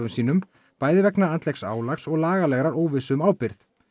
sínum bæði vegna andlegs álags og lagalegar óvissu um ábyrgð